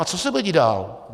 A co se bude dít dál?